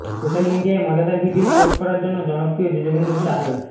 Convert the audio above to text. social মিডিয়ায় মজাদার video post করার জন্য জনপ্রিয় যজুবেন্দ্র চাহাল